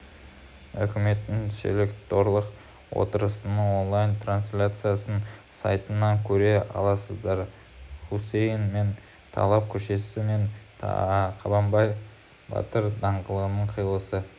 үкіметтің селекторлық отырысының онлайн-трансляциясын сайтынан көре аласыздар хусеин бен талал көшесі мен қабанбай батыр даңғылының қиылысы